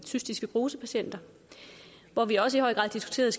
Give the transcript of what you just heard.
cystisk fibrose patienter hvor vi også i høj grad diskuterede